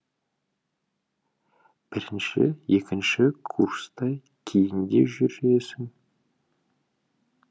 бірінші екінші курста кейіндеу жүресің